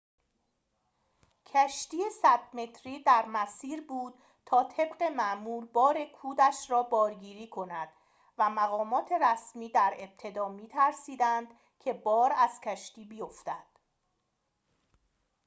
کشتی ۱۰۰ متری در مسیر بود تا طبق معمول بار کودش را بارگیری کند و مقامات رسمی در ابتدا می‌ترسیدند که بار از کشتی بیفتد